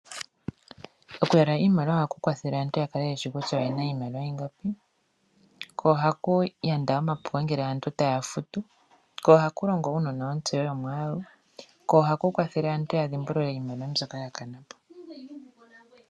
Okuyalula iimaliwa ohaku kwathele aantu ya kale yeshi kutya oye na iimaliwa ingapi ko ohaku yanda omapuko uuna aantu taya futu, ko ohaku longo wo nontseyo yomwaalu, ko ohaku kwathele wo aantu ya dhimbulule iimaliwa mbyoka ya kana.